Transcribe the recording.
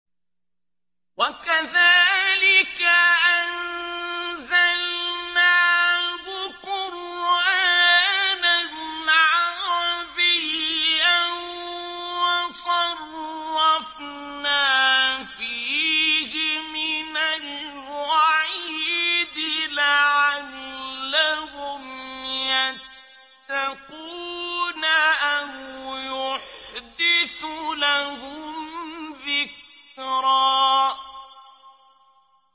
وَكَذَٰلِكَ أَنزَلْنَاهُ قُرْآنًا عَرَبِيًّا وَصَرَّفْنَا فِيهِ مِنَ الْوَعِيدِ لَعَلَّهُمْ يَتَّقُونَ أَوْ يُحْدِثُ لَهُمْ ذِكْرًا